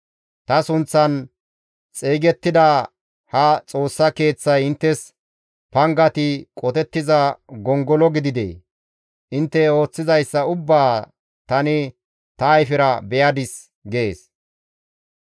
Ta sunththan xeygettida ha Xoossa Keeththay inttes pangati qotettiza gongolo gididee? Intte ooththizayssa ubbaa tani ta ayfera be7adis» gees.